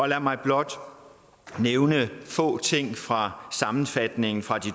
lad mig blot nævne få ting fra sammenfatningen fra